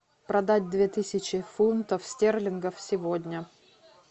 продать две тысячи фунтов стерлингов сегодня